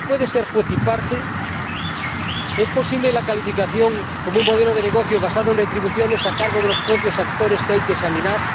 ¿Se puede ser juez y parte? ¿Es posible la calificación como un modelo de negocio basado en retribuciones a cargo de los propios actores que hay que examinar?